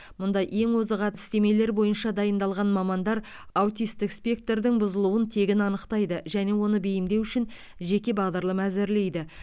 мұнда ең озық әдістемелер бойынша дайындалған мамандар аутистік спектрдің бұзылуын тегін анықтайды және оны бейімдеу үшін жеке бағдарлама әзірлейді